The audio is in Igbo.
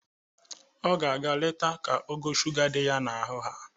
O ga-aga letu ka ogo shuga dị ya n'ahụ haa.